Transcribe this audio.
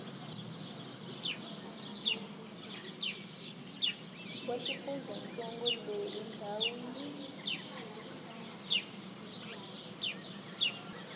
wa xifundzantsongo loyi ndhawu yi